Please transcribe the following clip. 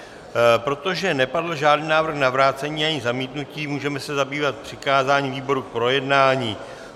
Protože nepadl žádný návrh na vrácení ani zamítnutí, můžeme se zabývat přikázáním výboru k projednání.